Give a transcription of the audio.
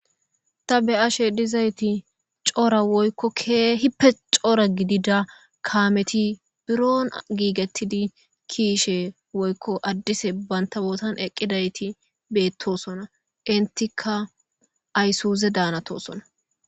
ta be ashe dizayti coora woykko keehippe coora gidida kaameti biro giigettidi kiishe woykko addise bayntabootan eqqidayti beettosona intika aysuuze daanatosona